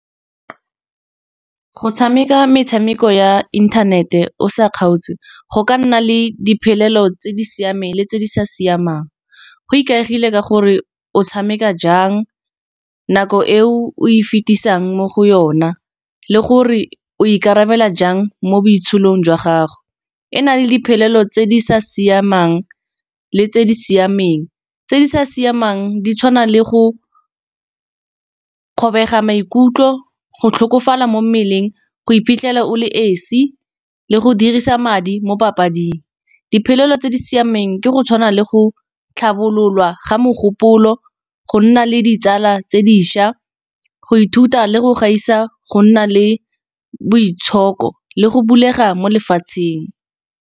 Go tshameka metshameko ya internet e o sa kgaotse, go ka nna le diphelelo tse di siameng le tse di sa siamang. Go ikaegile ka gore o tshameka jang, nako e o, o e fetisang mo go yona, le gore o ikarabela jang mo boitsholong jwa gago. E na le diphelelo tse di sa siamang le tse di siameng, tse di sa siamang di tshwana le go kgobega maikutlo, go tlhokofala mo mmeleng, go iphitlhela o le esi, le go dirisa madi mo papading. Diphelelo tse di siameng ke go tshwana le go tlhabololwa ga mogopolo, go nna le ditsala tse dišwa, go ithuta le go gaisa go nna le boitshoko le go bulega mo lefatsheng.